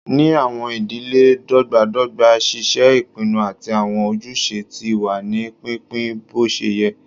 Ni awọn idile dọgbadọgba, ṣíṣe ìpinnu àti awọn ojúṣe ti wà ní pínpín boṣeyẹ